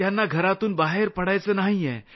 त्यांना घरातून बाहेर पडायचं नाहीये